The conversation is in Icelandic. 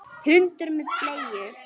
Hundur með bleiu!